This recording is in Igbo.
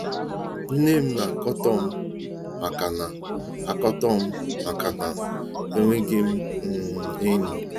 Nnem na akatom maka na akatom maka na enweghịm um enyi.